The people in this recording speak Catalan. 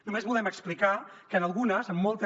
només volem explicar que en algunes en moltes